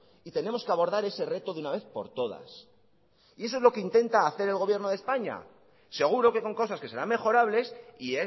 y tenemos que abordar ese reto de una vez por todas eso es lo que intenta hacer el gobierno de españa seguro que con cosas que serán mejorables y